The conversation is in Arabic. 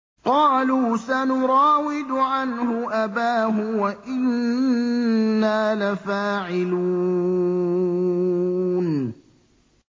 قَالُوا سَنُرَاوِدُ عَنْهُ أَبَاهُ وَإِنَّا لَفَاعِلُونَ